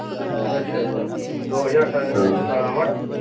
ਅੱਛਾ ਅੱਛਾ ਹਮ ਦੋ ਹਜ਼ਾਰ ਸਤਾਰਹ ਅਠਾਰਹ ਮਾਡਲ।